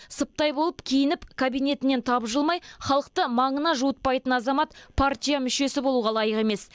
сыптай болып киініп кабинетінен тапжылмай халықты маңына жуытпайтын азамат партия мүшесі болуға лайық емес